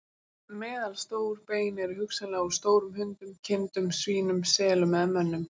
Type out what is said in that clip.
Meðalstór bein eru hugsanlega úr stórum hundum, kindum, svínum, selum eða mönnum.